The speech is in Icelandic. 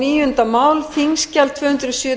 virðulegi forseti fyrir hönd atvinnuveganefndar mæli ég